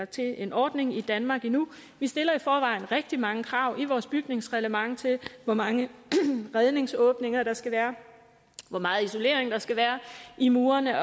til en ordning i danmark endnu vi stiller i forvejen rigtig mange krav i vores bygningsreglement til hvor mange redningsåbninger der skal være hvor meget isolering der skal være i murene at